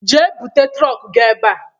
Jee bute trọk gị ebe a!